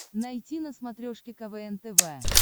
найти на смотрешке квн тв